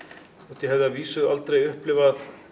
þótt ég hefði að vísu aldrei upplifað